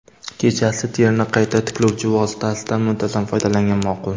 Kechasi terini qayta tiklovchi vositasidan muntazam foydalangan ma’qul.